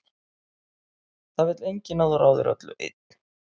Það vill enginn að þú ráðir öllu einn.